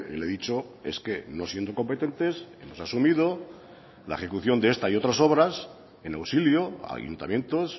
le he dicho es que no siendo competentes hemos asumido la ejecución de esta y otras obras en auxilio a ayuntamientos